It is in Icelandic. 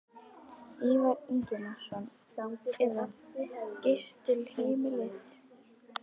Ívar Ingimarsson: Eða gistiheimilið?